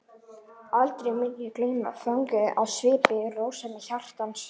Aldrei mun ég gleyma fögnuðinum í svipnum og rósemi hjartans.